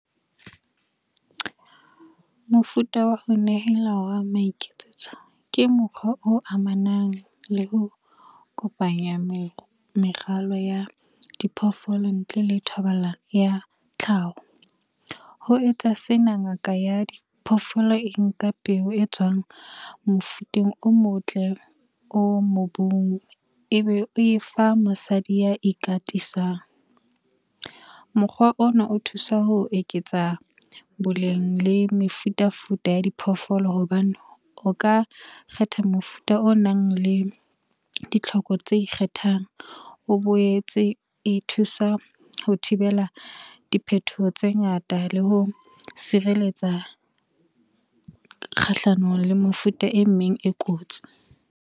Mofuta wa ho nehela wa maiketsetso, ke mokgwa o amanang le ho kopanya meralo ya diphoofolo ntle le thobalano ya tlhaho. Ho etsa sena ngaka ya diphoofolo e nka peo e tswang mofuteng o motle, o mobung ebe o e fa mosadi ya ikatisang. Mokgwa ona o thusa ho eketsa boleng le mefuta-futa ya diphoofolo hobane o ka kgetha mofuta o nang le ditlhoko tse ikgethang. O boetse e thusa ho thibela diphethoho tse ngata le ho sireletsa kgahlanong le mefuta e meng e kotsi.